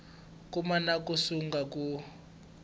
koma na ku sungula ku